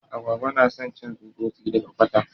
Agwagwa na son cin tsutsosi daga kwata.